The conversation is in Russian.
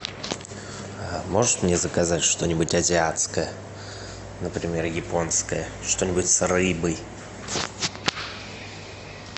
можешь мне заказать что нибудь азиатское например японское что нибудь с рыбой